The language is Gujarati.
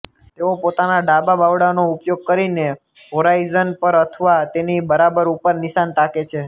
તેઓ પોતાના ડાબા બાવડાનો ઉપયોગ કરીને હોરાઇઝન પર અથવા તેની બરાબર ઉપર નિશાન તાકે છે